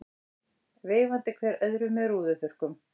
Veifandi hver öðrum með rúðuþurrkum.